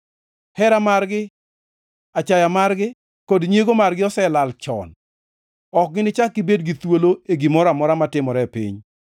Hera margi, achaya margi kod nyiego margi noselal chon; ok ginichak gibed gi thuolo e gimoro amora matimore e piny.